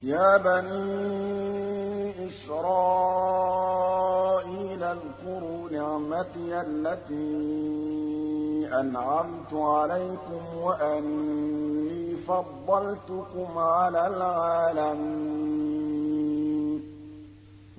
يَا بَنِي إِسْرَائِيلَ اذْكُرُوا نِعْمَتِيَ الَّتِي أَنْعَمْتُ عَلَيْكُمْ وَأَنِّي فَضَّلْتُكُمْ عَلَى الْعَالَمِينَ